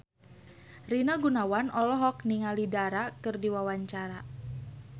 Rina Gunawan olohok ningali Dara keur diwawancara